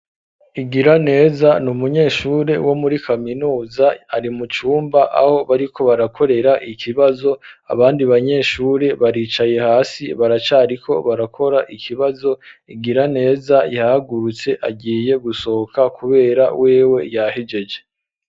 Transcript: Igiraneza ni umunyeshure wo muri kaminuza ari mucumba aho bari ko barakorera ikibazo abandi banyeshure baricaye hasi baracari ko barakora ikibazo Igiraneza yahagurutse agiye gusohoka kubera wewe yahejeje.